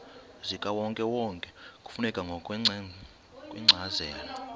zikawonkewonke kufuneka ngokwencazelo